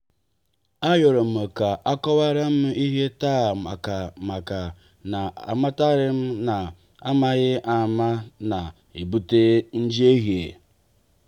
a yorom ka akowaram ihe taa ọ maka maka na amataram na-amaghi ama na-ebute njehie.